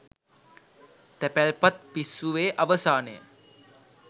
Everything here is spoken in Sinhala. තැපැල්පත් පිස්සුවේ අවසානය